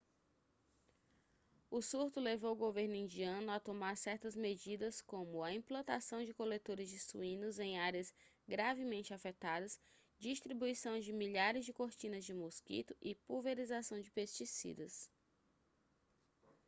o surto levou o governo indiano a tomar certas medidas como a implantação de coletores de suínos em áreas gravemente afetadas distribuição de milhares de cortinas de mosquito e pulverização de pesticidas